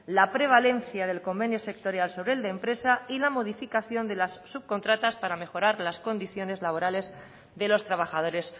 la prevalencia del convenio sectorial sobre el de empresa y la modificación de las subcontratas para mejorar las condiciones laborales de los trabajadores